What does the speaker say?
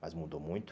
Mas mudou muito.